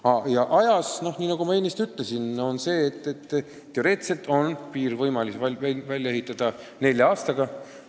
Mis puutub ehitamise aega, siis nagu ma ennist ütlesin, teoreetiliselt on võimalik piir välja ehitada nelja aastaga.